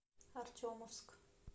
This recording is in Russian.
артемовск